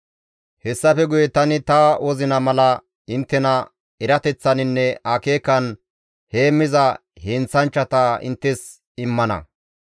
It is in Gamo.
«Hessafe guye tani ta wozina mala inttena erateththaninne akeekan heemmiza heenththanchchata inttes immana.